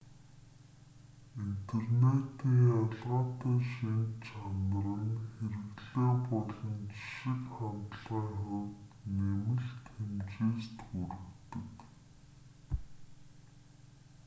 интернетийн ялгаатай шинж чанар нь хэрэглээ болон жишиг хандлагын хувьд нэмэлт хэмжээст хүргэдэг